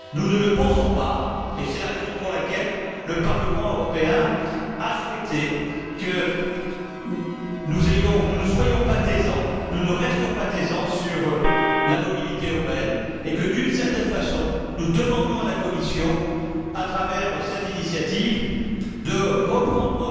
Nous ne le pensons pas, et c'est la raison pour laquelle le Parlement européen a souhaité que nous ne soyons pas taiseux, que nous ne restions pas taiseux sur la mobilité urbaine, et que, d'une certaine façon, nous demandions à la Commission, à travers cette initiative, de reprendre